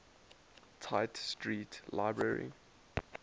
tite street library